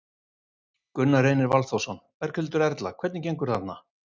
Gunnar Reynir Valþórsson: Berghildur Erla, hvernig gengur þarna?